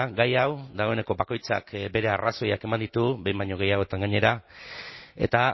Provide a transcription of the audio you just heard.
gai hau dagoeneko bakoitzak bere arrazoiak eman ditu behin baino gehiagotan gainera eta